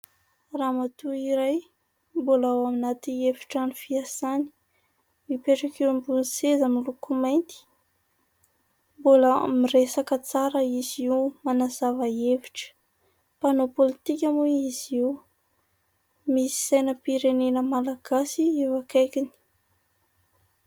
Ramatoa iray mbola ao anaty efin-trano fiasàny, mipetraka eo ambony seza miloko mainty; mbola miresaka tsara izy io manazava hevitra, mpanao politika moa izy io misy sainam-pirenena Malagasy eo akaikiny.